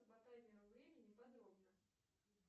по таймеру времени подробно